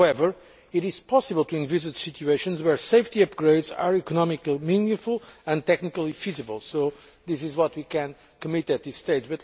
However, it is possible to envisage situations where safety upgrades are economically meaningful and technically feasible, so this is what we can commit to at this stage.